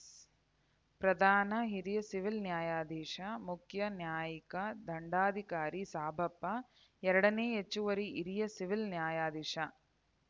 ಪ್ರಧಾನ ಹಿರಿಯ ಸಿವಿಲ್‌ ನ್ಯಾಯಾಧೀಶ ಮುಖ್ಯ ನ್ಯಾಯಿಕ ದಂಡಾಧಿಕಾರಿ ಸಾಬಪ್ಪ ಎರಡನೇ ಹೆಚ್ಚುವರಿ ಹಿರಿಯ ಸಿವಿಲ್‌ ನ್ಯಾಯಾಧೀಶ